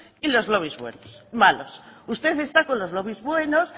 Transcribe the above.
y los lobbies malos usted está con los lobbies buenos